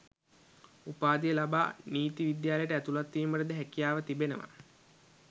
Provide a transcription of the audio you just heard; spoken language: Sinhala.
උපාධිය ලබා නීති විද්‍යාලයට ඇතුළත් වීමටද හැකියාව තිබෙනවා